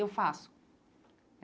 Eu faço.